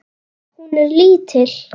Hún er lítil.